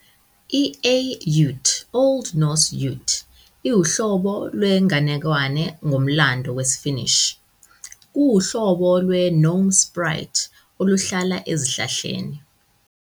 I-A Yout, Old Norse Yūt, iwuhlobo lwenganekwane ngomlando wesiFinnish. Kuwuhlobo lwe- gnome sprite oluhlala ezihlahleni.